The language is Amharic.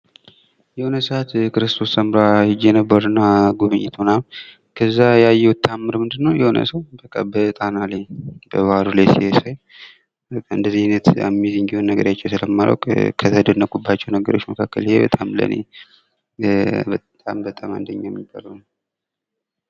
የሆነ ሰዓት ክርስቶስ ሰምራ ሄጄ ነበረና ጉብኝት ምናምን እዛ ያየሁት ተአምር ምንድን ነው በቃ አንድ ሰው በጣና ላይ በባህሩ ላይ ሲሄድ ሳይ እንደዚህ አይነት አሜዚንግ የሆነ ነገር አይቼ ስለማላውቅ ከተደነቅኩባቸው ነገሮች መካከል ይሄ በጣም ለኔ በጣም በጣም አንደኛ የነበረው ነው።